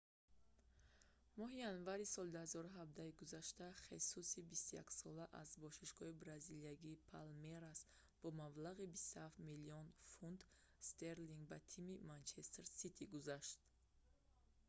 моҳи январи соли 2017-и гузашта хесуси 21 сола аз бошгоҳи бразилиягии палмерас бо маблағи 27 млн фунт стерлинг ба тими манчестер сити гузашт